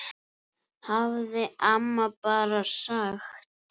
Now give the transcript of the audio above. hafði amma bara sagt.